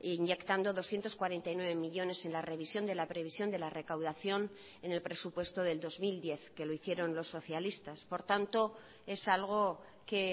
inyectando doscientos cuarenta y nueve millónes en la revisión de la previsión de la recaudación en el presupuesto del dos mil diez que lo hicieron los socialistas por tanto es algo que